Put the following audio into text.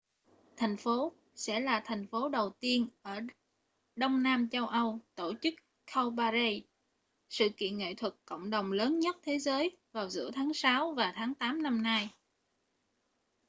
thành phố sẽ là thành phố đầu tiên ở đông nam châu âu tổ chức cowparade sự kiện nghệ thuật cộng đồng lớn nhất thế giới vào giữa tháng sáu và tháng tám năm nay